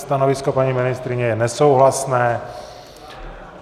Stanovisko paní ministryně je nesouhlasné.